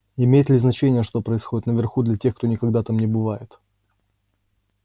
имеет ли значение что происходит наверху для тех кто никогда там не бывает